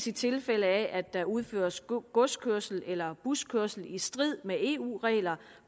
i tilfælde af at der dels udføres godskørsel eller buskørsel i strid med eu regler